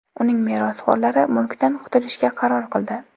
Uning merosxo‘rlari mulkdan qutulishga qaror qildi.